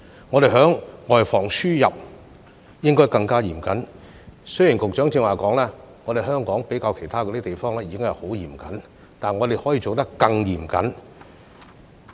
我們在外防輸入方面應該更加嚴謹；雖然局長剛才說香港相較其他地方已屬十分嚴謹，但我們可以做得更嚴謹。